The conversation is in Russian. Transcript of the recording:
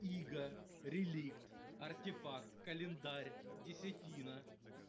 иго реликт артефакт календарь десятина